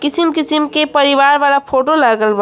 किसीम किसीम के परिवार वाला फोटो लागल बा।